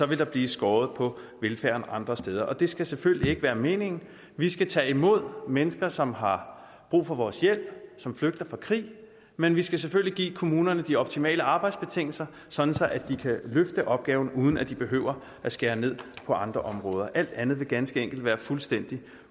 vil der blive skåret på velfærden andre steder det skal selvfølgelig ikke være meningen vi skal tage imod mennesker som har brug for vores hjælp som flygter fra krig men vi skal selvfølgelig give kommunerne de optimale arbejdsbetingelser sådan at de kan løfte opgaven uden at de behøver at skære ned på andre områder alt andet vil ganske enkelt være fuldstændig